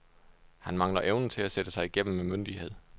Han mangler evnen at sætte sig igennem med myndighed.